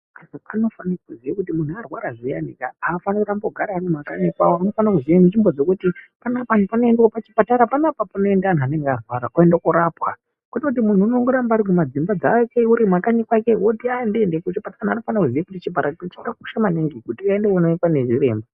Antu anofanira kuziva kuti muntu airwara zviyane kaa aafaniri kugara ari kumakanyi kwavo anofanira kuziva nzvimbo dzekuti pachipatara paanoenda antu anenge airwara oende korapwa .Kwete kuti muntu unongoramba ari mudzimba dzake mumakanyi kwake oti andiendi kuchipatara ,chipatara chakakosha maningi kuti aende koonekwa